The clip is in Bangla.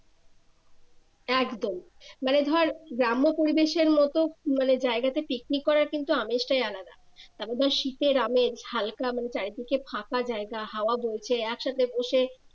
একদম মানে ধর গ্রাম্য পরিবেশের মতো মানে জায়াগাতে পিকনিক করার কিন্তু আমেজটাই আলদা তারপর শীতের আমেজ হালকা মানে চারিদিকে ফাঁকা জায়গা হাওয়া বইছে একসাথে বসে